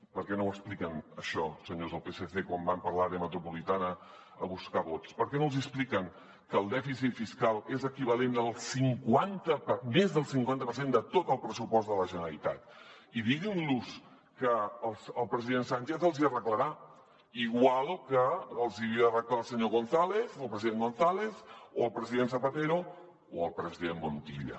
per què no ho expliquen això senyors del psc quan van per l’àrea metropolitana a buscar vots per què no els hi expliquen que el dèficit fiscal és equivalent al cinquanta més del cinquanta per cent de tot el pressupost de la generalitat i diguin los que el president sánchez els hi arreglarà igual que els ho havia d’arreglar el senyor gonzález el president gonzález o el president zapatero o el president montilla